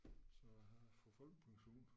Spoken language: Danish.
Så jeg får folkepension